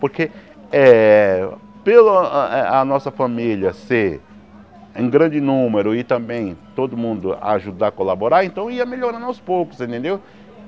Porque eh pela eh a nossa família ser em grande número e também todo mundo ajudar, colaborar, então ia melhorando aos poucos, você entendeu?